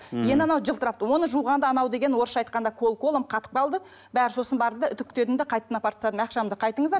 енді анау жылтырап оны жуғанда анау деген орысша айтқанда кол колом қатып қалды бәрі сосын барды да үтіктедім де қайтадан апарып тастадым ақшамды қайтыңыздар